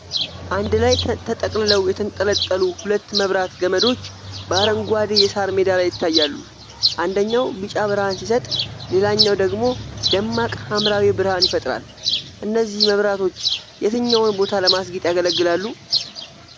አንድ ላይ ተጠቅልለው የተንጣለሉ ሁለት መብራት ገመዶች በአረንጓዴ የሳር ሜዳ ላይ ይታያሉ። አንደኛው ቢጫ ብርሃን ሲሰጥ፣ ሌላኛው ደግሞ ደማቅ ሐምራዊ ብርሃን ይፈጥራል፤ እነዚህ መብራቶች የትኛውን ቦታ ለማስጌጥ ያገለግላሉ?